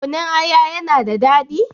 Kunun aya ya na da daɗi?